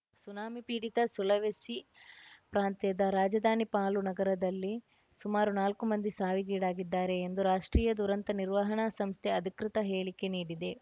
tsunami ಪೀಡಿತ Sulawesi ಪ್ರಾಂತ್ಯದ ರಾಜಧಾನಿ ಪಾಲು ನಗರದಲ್ಲಿ ಸುಮಾರು ನಾಲ್ಕು ಮಂದಿ ಸಾವಿಗೀಡಾಗಿದ್ದಾರೆ ಎಂದು ರಾಷ್ಟ್ರೀಯ ದುರಂತ ನಿರ್ವಹಣಾ ಸಂಸ್ಥೆ ಅಧಿಕೃತ ಹೇಳಿಕೆ ನೀಡಿದೆ